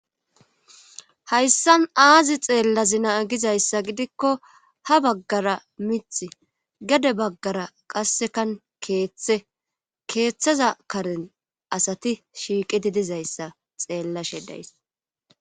hayssan aazi xeellazina gizayssa gidikko ha baggara mith gade baggara qassekan keeththe keeththaza karen asati shiiqidi dizayssa xeellashe days